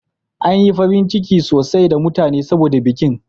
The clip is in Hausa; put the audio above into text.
An yi farin ciki sosai da mutane saboda bikin.